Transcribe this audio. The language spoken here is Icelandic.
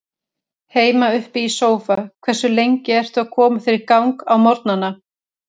Heima upp í sófa Hversu lengi ertu að koma þér í gang á morgnanna?